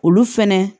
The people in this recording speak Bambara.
Olu fɛnɛ